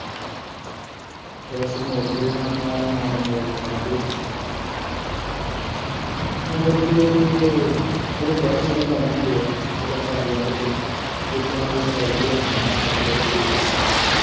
press ਮੋੜਦੇ ਹਾਂ ਮਾਲ ਮੋੜ ਮਾੜ ਕੇ ਮੋੜ ਕੇ ਤੇ ਉਹਦੇ ਲਾਉਣੇ ਹੁੰਦੇ ਆ ਕੱਟ ਵੱਢ ਕੇ ਜਿੱਦਾਂ ਦੀ ਰੱਖਣੀ ਹੈ ਸੱਤ ਬਾਏ ਛੇ ਦੀ ਅਲਮਾਰੀ